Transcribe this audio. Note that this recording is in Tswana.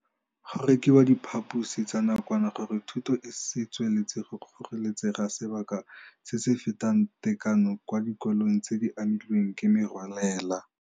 Go rekiwa diphaposi tsa nakwana gore thuto e se tswelele go kgoreletsega sebaka se se fetang tekano kwa dikolong tse di amilweng ke merwalela.